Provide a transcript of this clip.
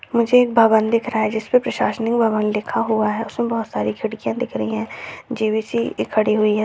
मुझे एक भवन दिख रहा है जिस पे प्रशासनिक भवन लिखा हुआ है उसमें बहुत सारी खिड़कियाँ दिख रही है जे.वी.सी. खड़ी हुई है।